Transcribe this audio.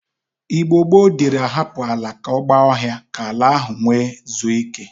Igbo gboo diri ahapụ ala ka ọ gba ọhịa ka ala ahụ nwe zue ike.